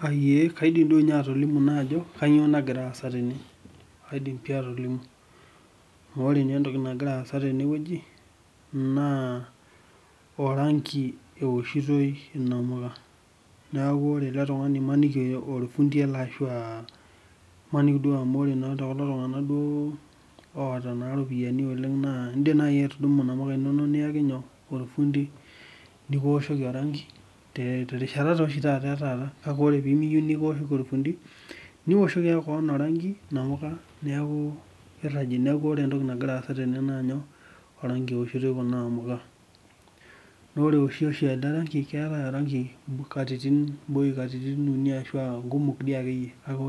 Kaidim atolimu Kaidim pih atolimu Ore entoki nagira aasa tenewueji naa orangi ewoshitoi inamuka niaku ore ele tungani imaniki aa olfundi ele ashu imaniki amu ore tekulotungana naa oota naa iropiani oleng naa indiim nai aawa inamuka inono niyaki olfundi nikiwoshoki orangi terishata e taata kake ore piimiyieu nikiwoshoki olfundi niwoshoki koon orangi inamuka niaku inamuka ewishitoi orangi Naa ore eoshi naa keetae orangi amu katitin uni ashu aa ngumok dii akeyie kake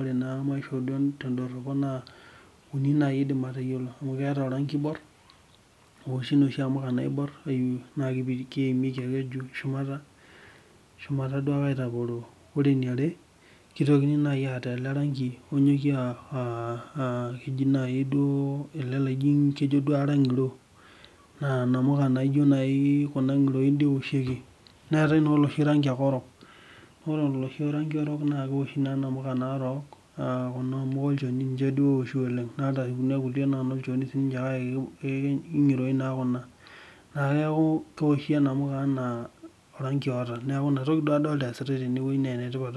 uni naai aidim aatayiolo amu keetae orangi oibor oloo namuka naibor naa keimieki shumata aitaporoo naa ore eniare naa ketitokini aata orangi onyokie aa ele loji naai kejo duo arany naa inamuka ngiroin ewoshieki neetai oloshi orok owoshieki inamuka naarok naa ninche duo ewoshi oleng naa ore kuna amuka na inolchoni naa ngiroin naa kuna neaku kewoshi inamuka enaa orangi oota niaku inamuka naa nanu adol ajo